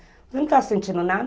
Você não está sentindo nada?